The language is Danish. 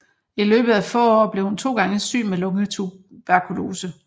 I løbet af få år blev hun to gange syg med lungetuberkulose